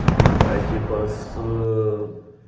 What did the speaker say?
типа с